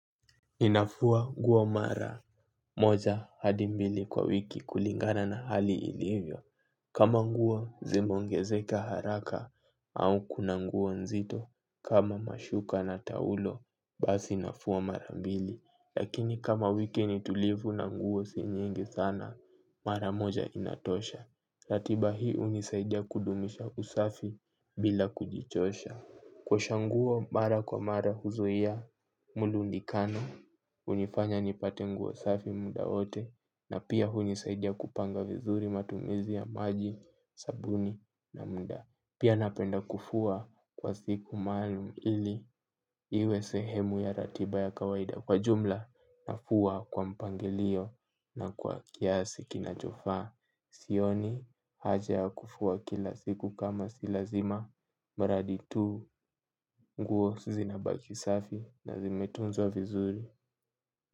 Ninafua nguo mara moja hadi mbili kwa wiki kulingana na hali ilivyo. Kama nguo zimeongezeka haraka au kuna nguo nzito kama mashuka na taulo basi nafua mara mbili. Lakini kama wiki nitulivu na nguo si nyingi sana mara moja inatosha. Latiba hii unisaidia kudumisha usafi bila kujichosha. Kuosha nguo mara kwa mara huzuia, murundikano, unifanya nipate nguo safi muda wote na pia unisaidia kupanga vizuri matumizi ya maji, sabuni na mda. Pia napenda kufua kwa siku maalum ili iwe sehemu ya ratiba ya kawaida kwa jumla na fua kwa mpangilio na kwa kiasi kinachofaa. Sioni haja ya kufua kila siku kama silazima. Mradi tu nguo zinabaki safi nazimetunzwa vizuri.